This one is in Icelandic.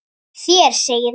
Þér segið nokkuð!